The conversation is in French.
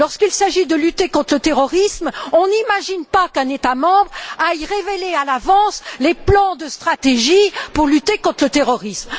Lorsqu'il s'agit de lutter contre le terrorisme, on n'imagine pas qu'un État membre aille révéler à l'avance les plans de stratégie pour lutter contre le terrorisme.